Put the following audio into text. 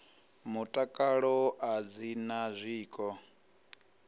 mutakalo a dzi na zwiko